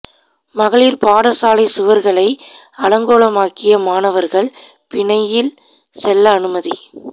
மகளிர் பாடசாலை சுவர்களை அலங்கோலமாக்கிய மாணவர்கள் பிணையில் செல்ல அனுமதி